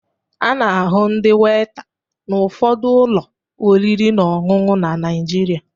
A na-ahụ ndị weta n'ụfọdụ ụlọ oriri na ọṅụṅụ na Naịjirịa